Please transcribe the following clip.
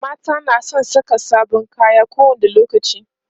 mata na San Saka sabon kaya ko wani lokaci